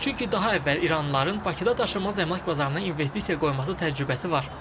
Çünki daha əvvəl iranlıların Bakıda daşınmaz əmlak bazarına investisiya qoyması təcrübəsi var.